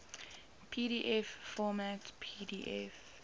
pdf format pdf